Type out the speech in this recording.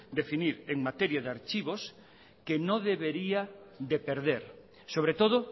definir en materia de archivos que no debería de perder sobre todo